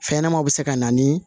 Fɛn ɲɛnɛmaw bi se ka na ni